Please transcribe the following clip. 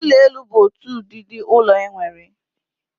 Ụlọ elu bu otu ụdịdị ụlọ enwere.